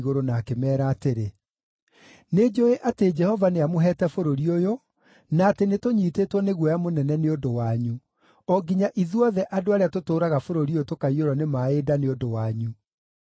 na akĩmeera atĩrĩ, “Nĩnjũũĩ atĩ Jehova nĩamũheete bũrũri ũyũ, na atĩ nĩtũnyiitĩtwo nĩ guoya mũnene nĩ ũndũ wanyu, o nginya ithuothe andũ arĩa tũtũũraga bũrũri ũyũ tũkaiyũrwo nĩ maaĩ nda nĩ ũndũ wanyu.